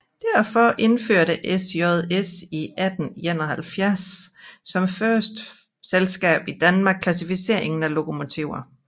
Derfor indførte SJS i 1871 som første selskab i Danmark klassificeringen af lokomotiver